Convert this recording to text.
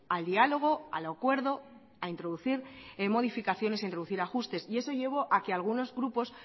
al diálogo al acuerdo a introducir modificaciones e introducir ajustes y eso llevó a que a algunos grupos